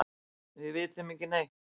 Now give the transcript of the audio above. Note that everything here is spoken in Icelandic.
Við vitum ekki neitt.